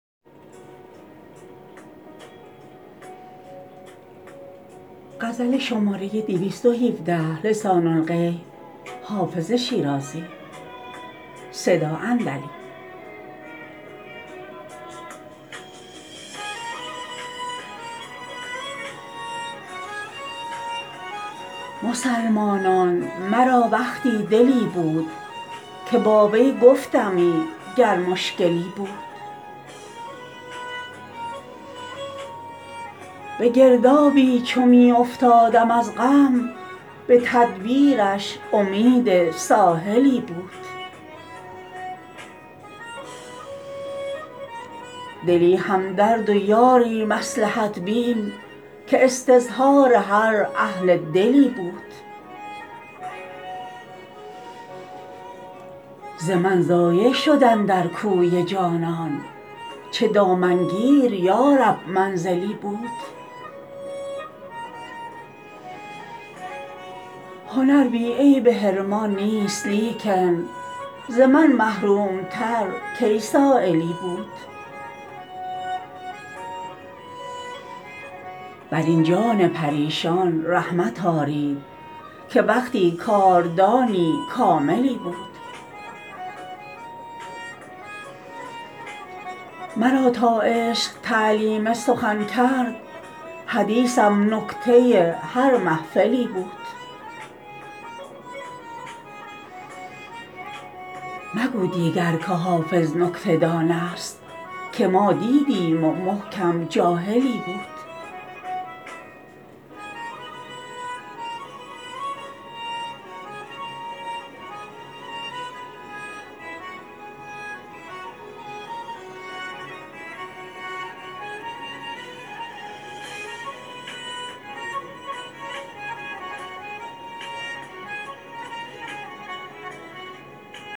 مسلمانان مرا وقتی دلی بود که با وی گفتمی گر مشکلی بود به گردابی چو می افتادم از غم به تدبیرش امید ساحلی بود دلی همدرد و یاری مصلحت بین که استظهار هر اهل دلی بود ز من ضایع شد اندر کوی جانان چه دامنگیر یا رب منزلی بود هنر بی عیب حرمان نیست لیکن ز من محروم تر کی سایلی بود بر این جان پریشان رحمت آرید که وقتی کاردانی کاملی بود مرا تا عشق تعلیم سخن کرد حدیثم نکته هر محفلی بود مگو دیگر که حافظ نکته دان است که ما دیدیم و محکم جاهلی بود